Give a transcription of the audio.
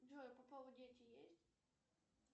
джой у попова дети есть